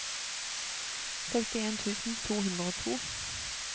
sekstien tusen to hundre og to